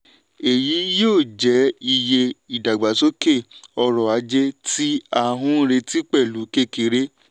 èyí yóò jẹ́ iye ìdàgbàsókè ọrọ̀-ajé tí à ń retí pẹ̀lú kékeré.